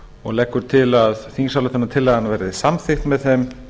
og leggur til að þingsályktunartillagan verði samþykkt með þeim